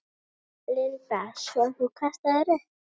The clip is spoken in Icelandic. Linda: Svo þú kastaðir upp?